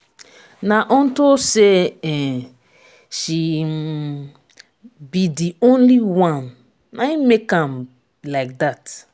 na unto say um she um be the only one na im make am like dat.